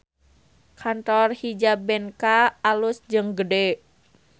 Kantor Hijabenka alus jeung gede